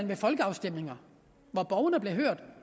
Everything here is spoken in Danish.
ved folkeafstemninger hvor borgerne blev hørt